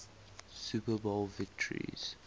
super bowl victories